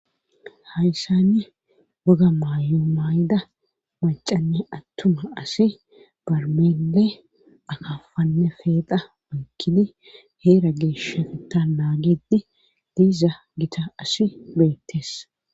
hayssani woga maayo maayida macanne attuma asi barmeenle akafanne feeda oykkini heera geeshafta naagedi diiza gita asi beettes